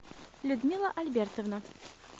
людмила альбертовна